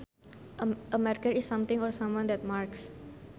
A marker is something or someone that marks